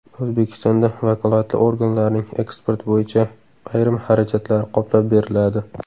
O‘zbekistonda vakolatli organlarning eksport bo‘yicha ayrim xarajatlari qoplab beriladi.